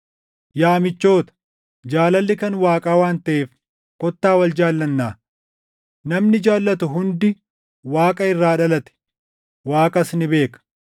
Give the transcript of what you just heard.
Yaa michoota, jaalalli kan Waaqaa waan taʼeef kottaa wal jaallannaa. Namni jaallatu hundi Waaqa irraa dhalate; Waaqas ni beeka.